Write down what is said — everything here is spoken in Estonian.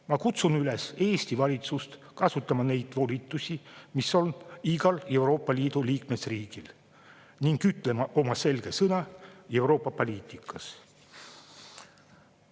Ma kutsun Eesti valitsust üles kasutama neid volitusi, mis on igal Euroopa Liidu liikmesriigil, ning ütlema oma selge sõna Euroopa poliitikas.